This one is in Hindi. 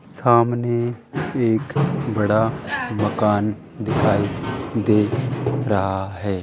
सामने एक बड़ा मकान दिखाई दे रहा है।